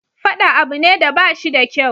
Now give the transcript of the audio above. Faɗa abu ne da bashi da kyau